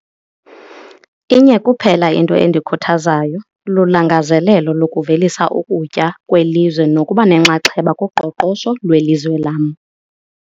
Inye kuphela into endikhuthazayo, lulangazelelo lokuvelisa ukutya kwelizwe nokuba nenxaxheba kuqoqosho lwelizwe lam.